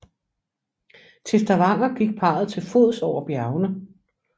Til Stavanger gik parret til fods over bjergene